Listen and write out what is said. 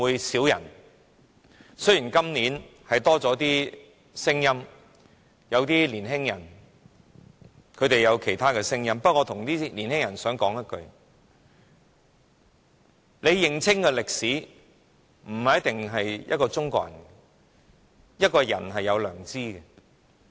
誠然，今年有些年輕人表達了其他聲音，不過，我想對這些年輕人說一句話：你不一定要是中國人才能認清這段歷史，人是有良知的。